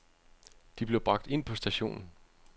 De blev bragt ind på stationen.